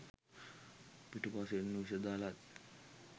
පිටුපසින් විෂ දලත්